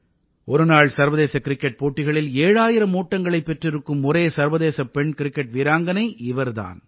ஒருநாள் சர்வதேச கிரிக்கெட் போட்டிகளில் ஏழாயிரம் ஓட்டங்களைப் பெற்றிருக்கும் ஒரே சர்வதேச பெண் கிரிக்கெட் வீராங்கனை இவர் தான்